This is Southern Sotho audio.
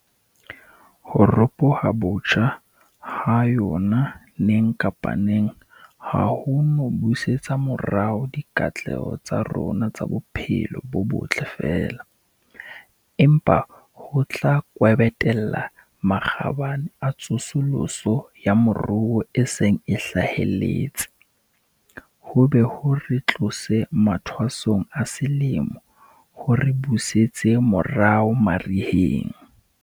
Ho ropoha botjha ha yona neng kapa neng ha ho no busetsa morao dikatleho tsa rona tsa bophelo bo botle feela, empa ho tla kwebetella makgabane a tsosoloso ya moruo a seng a hlahelletse, ho be ho re tlose mathwasong a selemo ho re busetse morao mariheng.